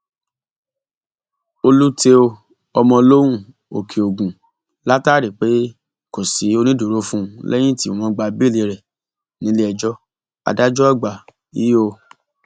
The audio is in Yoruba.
olútèo ọmọlóhùn òkèogun látàrí pé kò sí onídùúró fún un lẹyìn tí wọn gba béèlì rẹ nílẹẹjọ adájọàgbà io